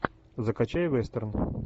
закачай вестерн